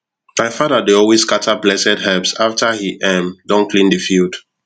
my father dey always scatter blessed herbs after he um don clean the field